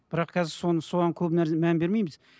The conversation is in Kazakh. бірақ қазір соны соған көп мән бермейміз